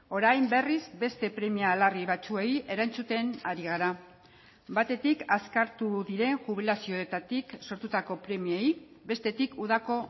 orain berriz beste premia larri batzuei erantzuten ari gara batetik azkartu diren jubilazioetatik sortutako premiei bestetik udako